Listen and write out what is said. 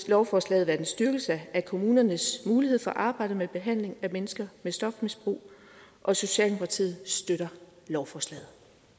lovforslaget være en styrkelse af kommunernes mulighed for at arbejde med behandling af mennesker med stofmisbrug og socialdemokratiet støtter lovforslaget